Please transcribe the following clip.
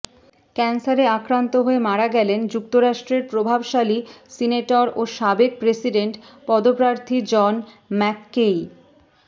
ক্যান্সারে আক্রান্ত হয়ে মারা গেলেন যুক্তরাষ্ট্রের প্রভাবশালী সিনেটর ও সাবেক প্রেসিডেন্ট পদপ্রার্থী জন ম্যাককেই